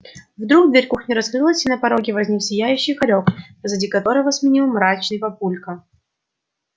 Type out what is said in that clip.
вдруг дверь кухни раскрылась и на пороге возник сияющий хорёк позади которого семенил мрачный папулька